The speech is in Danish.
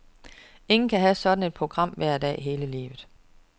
Ingen kan have sådan et program hver dag hele livet.